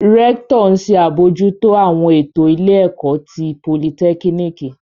Rẹktọ n ṣe abojuto awọn eto ile ẹkọ ti politekiniki